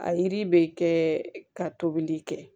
A yiri be kɛ ka tobili kɛ